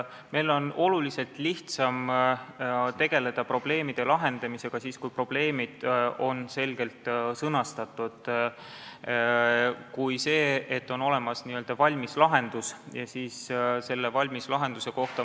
Meil on oluliselt lihtsam tegeleda probleemide lahendamisega siis, kui probleemid on selgelt sõnastatud, mitte nii, et on olemas n-ö valmis lahendus.